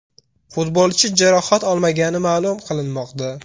Futbolchi jarohat olmagani ma’lum qilinmoqda.